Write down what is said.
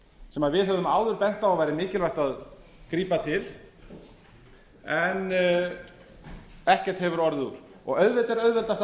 sem við höfum áður bent á að væri mikilvægt að grípa til en ekkert hefur orðið úr auðvitað er auðveldast að